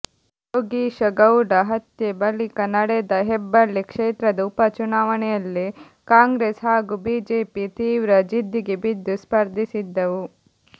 ಯೋಗೀಶಗೌಡ ಹತ್ಯೆ ಬಳಿಕ ನಡೆದ ಹೆಬ್ಬಳ್ಳಿ ಕ್ಷೇತ್ರದ ಉಪ ಚುನಾವಣೆಯಲ್ಲಿ ಕಾಂಗ್ರೆಸ್ ಹಾಗೂ ಬಿಜೆಪಿ ತೀವ್ರ ಜಿದ್ದಿಗೆ ಬಿದ್ದು ಸ್ಪರ್ಧಿಸಿದ್ದವು